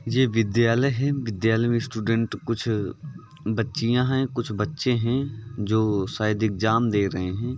ये विद्यालय है। विद्यालय में स्टूडेंट कुछ बच्चियां हैं। कुछ बच्चे हैं जो शायद एग्जाम दे रहे हैं।